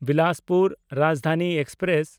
Bilaspur Rajdhani express